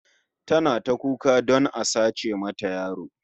Tana ta kuka don a sace mata yaro